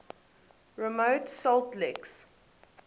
remote salt licks